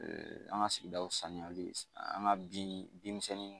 An ka sigidaw saniyali an ka bin bin misɛnnin